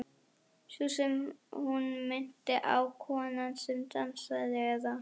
Sú sem hún minnti á, konan sem dansaði, eða.